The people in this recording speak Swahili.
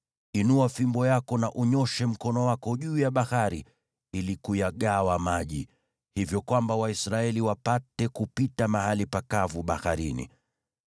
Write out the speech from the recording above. Inua fimbo yako na unyooshe mkono wako juu ya bahari ili kuyagawa maji, hivyo kwamba Waisraeli wapate kupita mahali pakavu baharini.